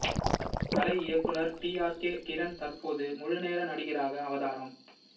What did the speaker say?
கலை இயக்குநர் T R K Kiran தற்போது முழுநேர நடிகராக அவதாரம்